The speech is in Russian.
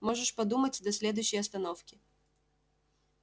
можешь подумать до следующей остановки